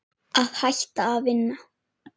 Að hætta að vinna?